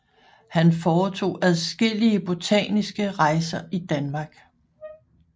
Han foretog adskillige botaniske rejser i Danmark